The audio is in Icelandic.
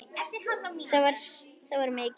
Það var mikið.